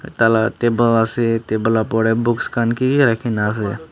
taila table ase table la opor de books khan ki ki rakhi gina ase.